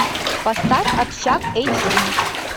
поставь общак эйч ди